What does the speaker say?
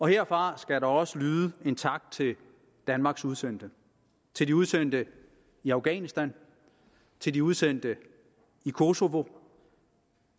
herfra skal der også lyde en tak til danmarks udsendte til de udsendte i afghanistan til de udsendte i kosova